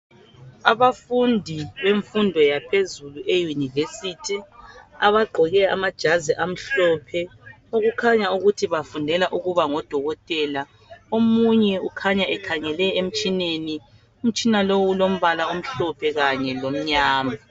Abafundi bemfundo yaphezulu eyunivesithi abagqoke amajazi amhlophe okukhanya ukuthi bafundela ukuba ngodokotela omunye kukhanyan ekhangele emtshineni umtshina lowu ulombala omhlophe kanye lomnyama.